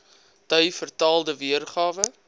dui vertaalde weergawe